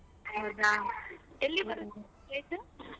ಹೌದಾ ಎಲ್ಲಿ ಬರತ್ place ?